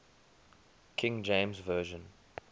king james version